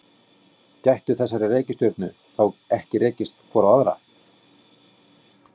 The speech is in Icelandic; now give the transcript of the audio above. Gætu þessar reikistjörnur þá ekki rekist hvor á aðra?